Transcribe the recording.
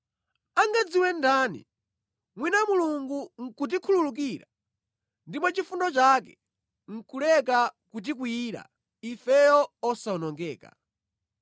Angadziwe ndani? Mwina Mulungu nʼkutikhululukira ndipo mwa chifundo chake nʼkuleka kutikwiyira, ifeyo osawonongedwa.”